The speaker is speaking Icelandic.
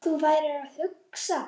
Hvað þú værir að hugsa.